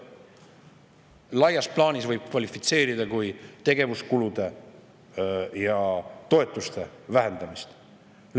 Laias plaanis võib seda kvalifitseerida kui tegevuskulude ja toetuste vähendamist.